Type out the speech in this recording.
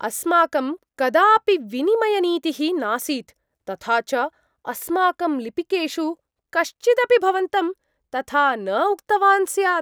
अस्माकं कदापि विनिमयनीतिः नासीत्, तथा च अस्माकं लिपिकेषु कश्चिदपि भवन्तं तथा न उक्तवान् स्यात्।